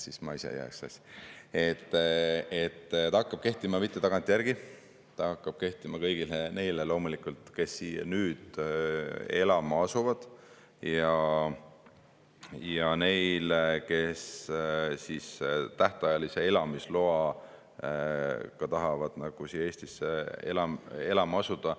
See ei hakka kehtima tagantjärgi, see hakkab kehtima loomulikult kõigile neile, kes siia nüüd elama asuvad, ja neile, kes tähtajalise elamisloaga tahavad Eestisse elama asuda.